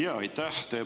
Jaa, aitäh!